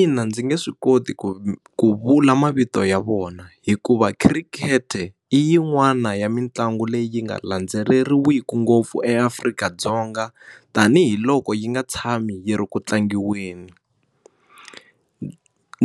Ina ndzi nge swi koti ku ku vula mavito ya vona hikuva khirikete i yin'wana ya mitlangu leyi yi nga landzeleriwiki ngopfu eAfrika-Dzonga tanihi hi loko yi nga tshami hi ri ku tlangiweni